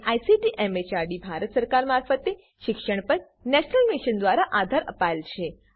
જેને ICT MHRD Bharat સરકાર મારફતે શિક્ષણ પર નેશનલ મિશન દ્વારા આધાર અપાયેલ છે